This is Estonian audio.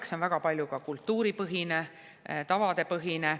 See on väga palju ka kultuuripõhine, tavadepõhine.